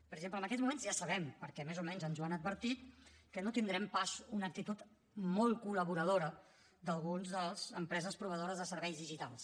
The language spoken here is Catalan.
per exemple en aquests moments ja sabem perquè més o menys ens ho han advertit que no tindrem pas una actitud molt col·laboradora d’algunes de les empreses proveïdores de serveis digitals